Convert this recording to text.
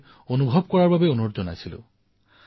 আপোনালোকে ভাৰতবৰ্ষক চাওক বুজক আৰু অনুভৱ কৰক